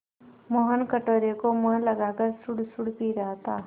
मोहन कटोरे को मुँह लगाकर सुड़सुड़ पी रहा था